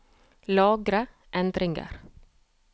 Lagre endringer